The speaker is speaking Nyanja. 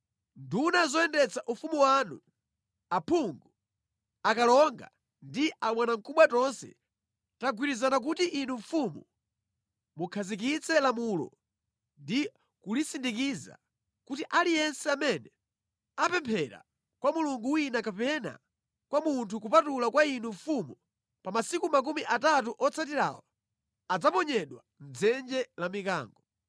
Nduna zoyendetsa ufumu wanu, aphungu, akalonga ndi abwanamkubwa tonse tagwirizana kuti inu mfumu mukhazikitse lamulo ndi kulisindikiza kuti aliyense amene apemphera kwa mulungu wina kapena kwa munthu kupatula kwa inu mfumu, pa masiku makumi atatu otsatirawa, adzaponyedwa mʼdzenje la mikango.